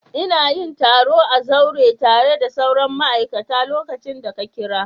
Ina yin taro a zaure tare da sauran ma'aikata lokacin da ka kira.